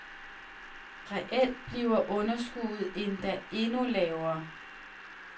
Reelt bliver underskuddet endda endnu lavere.